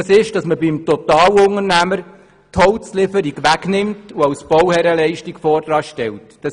Man soll beim Totalunternehmer die Holzlieferung wegnehmen sie und als Bauherrrenleistung voranstellen.